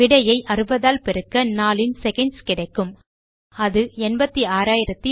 விடையை 60 ஆல் பெருக்க நாளின் செகண்ட்ஸ் கிடைக்கும் அது 86400